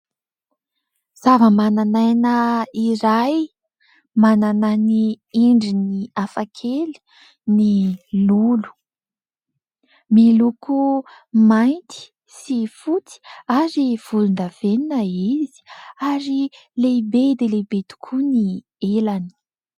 Zava-manan'aina iray manana ny endriny hafakely ny lolo, miloko mainty sy fotsy ary volondavenona izy ary lehibe dia lehibe tokoa ny elany.